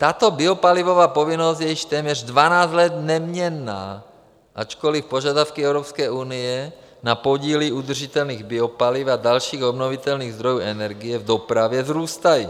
Tato biopalivová povinnost je již téměř 12 let neměnná, ačkoli požadavky Evropské unie na podíly udržitelných biopaliv a dalších obnovitelných zdrojů energie v dopravě vzrůstají.